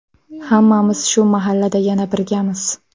Hammamiz shu mahallada yana birgamiz.